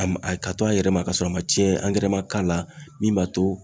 A ma a ka to a yɛrɛ ma ka sɔrɔ a ma tiɲɛn angɛrɛ ma k'a la min b'a to